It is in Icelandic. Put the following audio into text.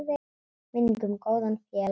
Minning um góðan félaga lifir.